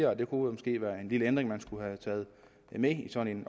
og det kunne måske være en lille ændring man skulle have taget med i sådan